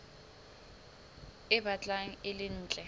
e batlang e le ntle